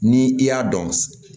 Ni i y'a dɔn